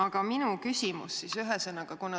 Aga minu küsimus on selline.